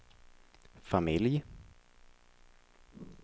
familj